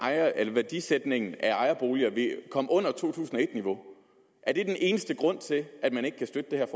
at værdisætningen af ejerboliger vil komme under to tusind og et niveau er det den eneste grund til at man ikke kan støtte det her